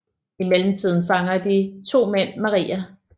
I mellemtiden fanger de to mænd Maria